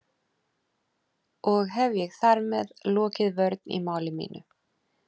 Og hef ég þar með lokið vörn í máli mínu.